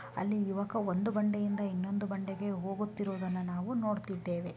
ಅಲ್ಲಿ ಯುವಕ ಒಂದು ಬಂಡೆಯಿಂದ ಇನ್ನೊಂದು ಬಂಡೆಗೆ ಹೋಗುತ್ತಿರುವುದನ್ನು ನಾವು ನೋಡುತ್ತಿದ್ದೇವೆ.